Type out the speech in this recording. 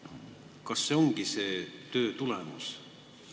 Kas see ongi selle töö tulemus?